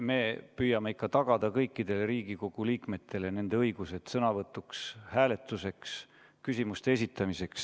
Me püüame tagada kõikidele Riigikogu liikmetele nende õigused sõnavõtuks, hääletuseks, küsimuste esitamiseks.